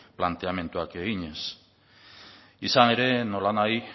planteamenduak eginez izan ere nola nahi